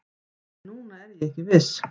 En núna er ég ekki viss